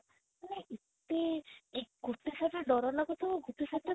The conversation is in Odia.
ମାନେ ଏତେ ଗୋଟେ side ରେ ଡର ଲାଗୁଥିବା ଆଉ ଗୋଟେ side ରେ